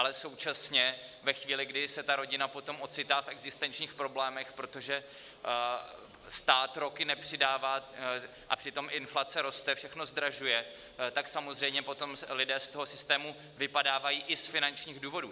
Ale současně ve chvíli, kdy se ta rodina potom ocitá v existenčních problémech, protože stát roky nepřidává, a přitom inflace roste, všechno zdražuje, tak samozřejmě potom lidé z toho systému vypadávají i z finančních důvodů.